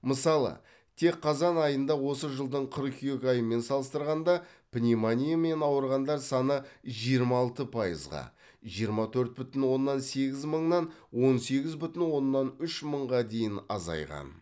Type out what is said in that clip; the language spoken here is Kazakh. мысалы тек қазан айында осы жылдың қыркүйек айымен салыстырғанда пневмониямен ауырғандар саны жиырма алты пайызға жиырма төрт бүтін оннан сегіз мыңнан он сегіз бүтін оннан үш мыңға дейін азайған